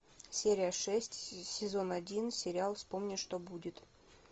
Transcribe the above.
серия шесть сезон один сериал вспомни что будет